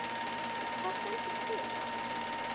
Hvað stendur til?